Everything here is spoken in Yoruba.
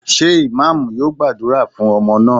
Ṣé Imam yóò gbàdúrà fún ọmọ náà?